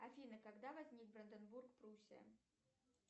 афина когда возник бранденбург пруссия